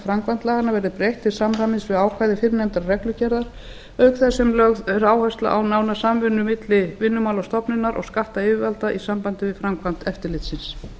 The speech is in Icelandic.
framkvæmd laganna verði breytt til samræmis við ákvæði fyrrnefndrar reglugerðar auk þess sem lögð er áhersla á nána samvinnu milli vinnumálastofnunar og skattyfirvalda í sambandi við framkvæmd eftirlitsins